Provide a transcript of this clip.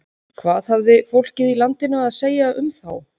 Hvað hafði fólkið landinu að segja um þá?